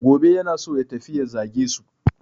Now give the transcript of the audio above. Gobe yana so ya tafi ya zage su.